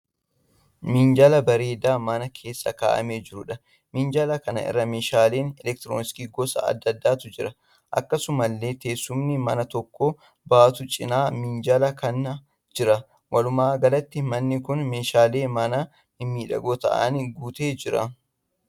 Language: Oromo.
Minjaala bareedaa mana keessa ka'amee jiruudha. Minjaala kana irra meeshaalee 'elektirooniksii' gosa adda addaatu jira. Akkasumallee teessumni nama tokko baatu cina minjaala kanaa jira. Walumaa galatti manni kun meeshaalee manaa mimmiidhagoo ta'aaniin guutee jira.